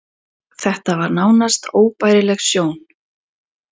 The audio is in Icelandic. Þetta var nánast óbærileg sjón.